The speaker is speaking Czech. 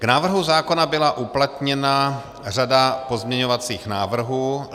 K návrhu zákona byla uplatněna řada pozměňovacích návrhů.